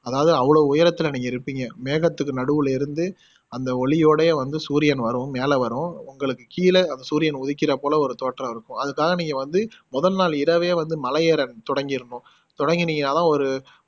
அதாவது அவ்வளவு உயரத்துல நீங்க இருப்பிங்க மேகத்துக்கு நடுவுல இருந்து அந்த ஒளியோட வந்து சூரியன் வரும் மேல வரும் உங்களுக்கு கீழ சூரியன் உதிக்கிற போல தோற்றம் இருக்கும் அதுக்காக நீங்க வந்து மொதல் நாள் இரவே வந்து மலை ஏற தொடங்கிரணும் தொடங்குனிங்கன்னா தான் ஒரு